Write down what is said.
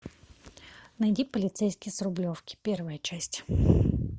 найди полицейский с рублевки первая часть